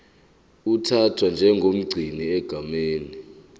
uthathwa njengomgcini egameni